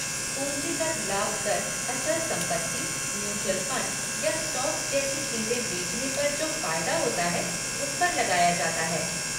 पूंजीगत लाभ कर अचल संपत्ति, म्यूचुअल फ़ंड या स्टॉक्स जैसी चीज़ें बेचने पर जो फ़ायदा होता है उस पर लगाया जाता है।